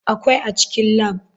Akwai a cikin lab.